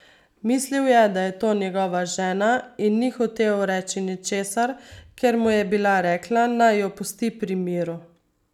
Mislil je, da je to njegova žena in ni hotel reči ničesar, ker mu je bila rekla, naj jo pusti pri miru.